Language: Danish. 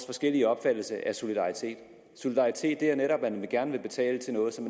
forskellige opfattelser af solidaritet solidaritet er netop at man gerne vil betale til noget som